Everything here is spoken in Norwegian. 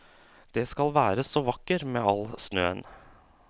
Det skal være så vakker med all snøen.